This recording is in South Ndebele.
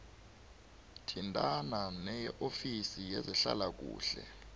thintana neofisi yezehlalakuhle